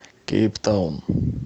кейптаун